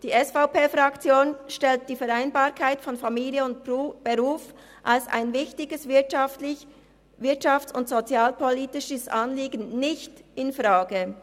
Die SVP-Fraktion stellt die Vereinbarkeit von Familie und Beruf als ein wichtiges wirtschafts- und sozialpolitisches Anliegen nicht infrage.